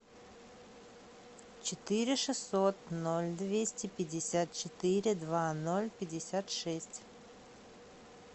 четыре шестьсот ноль двести пятьдесят четыре два ноль пятьдесят шесть